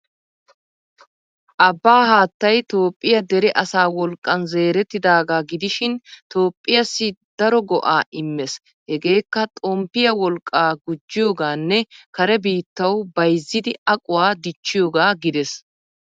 Abbaa haattay Toophphiya dere asaa wolqqan zeerettidaagaa gidishin, Toophphiyaassi daro go''aa immees. Hegeekka xomppiyaa wolqqaa gujjiyoogaanne Kare bittawu bayzzidi aquwa dichchiyoogaa gidees.